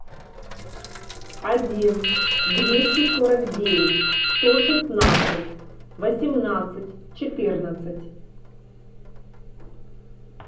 один двести сорок девять сто шестнадцать восемнадцать четырнадцать